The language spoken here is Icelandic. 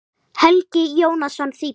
Helgi Jónsson þýddi.